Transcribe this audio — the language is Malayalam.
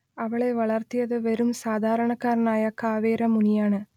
അവളെ വളർത്തിയത് വെറും സാധാരണക്കാരനായ കാവേര മുനിയാണ്